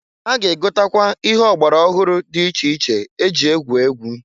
Ha ga-egotakwa ihe ọgbara ọhụrụ dị iche iche e ji egwu egwu.